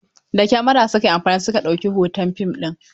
Da Kamara su ka yi amfani su ka ɗauki hoton fim ɗin.